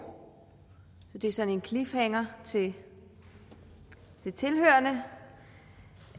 så det er sådan en cliffhanger til tilhørerne